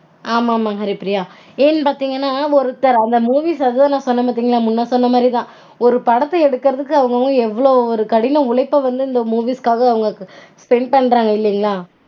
ஆமா மா ஹரிப்ரியா ஏன்னு பாத்தீங்கனா ஒருத்தர் ஒரு அவங்க movie வந்து சொன்னன் பாத்தீங்களா முன்ன சொன்ன மாதிரி ஒரு படத்த எடுக்குறதுக்கு அவங்க அவங்க வந்து எவ்வள்வு கடின உழைப்பு வந்து இந்த movies அவங்க spend பண்றாங்க இல்லீங்களா